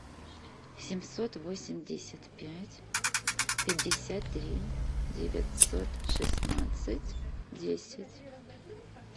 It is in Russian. семьсот восемьдесят пять пятьдесят три девятьсот шестнадцать десять